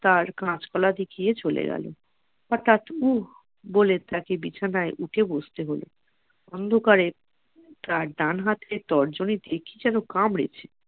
আর কাঁচকলা দেখিয়ে চলে গেল হঠাৎ উফ বলে তাকে বিছানায় উঠে বসতে হল । অন্ধকারে তার ডান হাতের তর্জনীতে কি যেন কামড়েছে